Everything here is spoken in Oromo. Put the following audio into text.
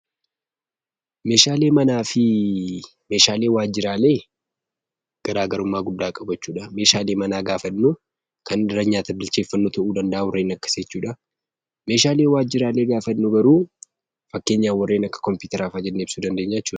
Meeshaaleen manaa fi Meeshaaleen waajjiraalee garaa garummaa guddaa qabu jechuu dha. Meeshaalee manaa gaafa jennu, kan irratti nyaata bilcheeffannu ta'uu danda'a, warreen akkasii jechuu dha. Meeshaalee waajjiraalee gaafa jennu garuu, fakkeenyaaf warreen akka kompiyuutaraa fa'a jennee ibsuu dandeenya jechuu dha.